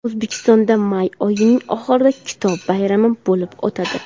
O‘zbekistonda may oyining oxirida kitob bayrami bo‘lib o‘tadi.